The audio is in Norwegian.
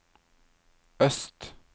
øst